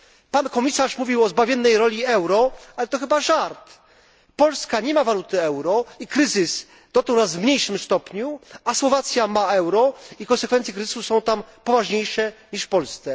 Pan komisarz mówił o zbawiennej roli euro, ale to chyba żart. Polska nie ma waluty euro i kryzys dotknął nas w mniejszym stopniu, niż Słowację, która wprowadziła euro i konsekwencje kryzysu są tam poważniejsze niż w Polsce.